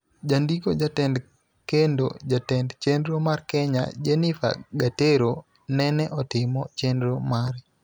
Jandiko, jatend kendo jatend chenro mar Kenya, Jennifer Gatero, nene otimo chenro mare